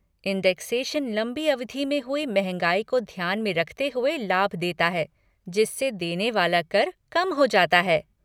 Indexation लंबी अवधि में हुई महँगाई को ध्यान में रखते हुए लाभ देता है जिससे देने वाला कर कम हो जाता है।